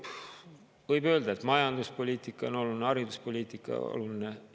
Võib öelda, et majanduspoliitika on oluline, hariduspoliitika on oluline.